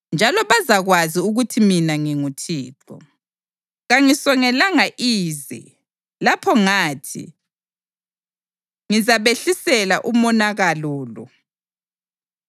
Njalo bazakwazi ukuthi mina nginguThixo. Kangisongelanga ize lapho ngathi ngizabehlisela umonakalo lo.